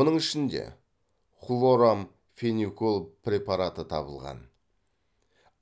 оның ішінде хлорамфеникол препараты табылған